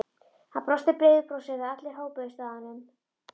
Hann brosti breiðu brosi þegar allir hópuðust að honum.